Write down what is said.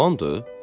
Müsəlmandır?